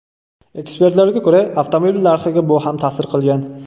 Ekspertlarga ko‘ra, avtomobil narxiga bu ham ta’sir qilgan.